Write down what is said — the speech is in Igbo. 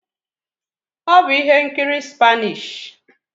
Ọ bụ ihe nkiri Spanish